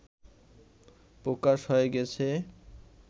প্রকাশ হয়ে গেছে